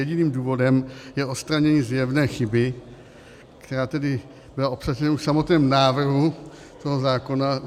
Jediným důvodem je odstranění zjevné chyby, která tedy byla obsažena už v samotném návrhu toho zákona.